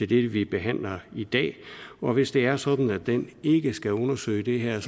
det vi behandler i dag og hvis det er sådan at den ikke skal undersøge det her